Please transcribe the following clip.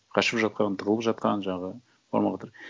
қашып жатқан тығылып жатқан жаңағы бармауға